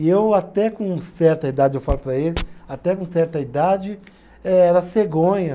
E eu até com certa idade, eu falo para ele, até com certa idade era cegonha.